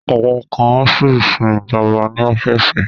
Àwọn kan á sì sin ìjọba ní ọ́fíìsì